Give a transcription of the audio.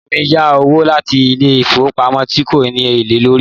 Ìyá mí yá owó láti ilé ìfowópamọ́ tí kò ní èlé lórí.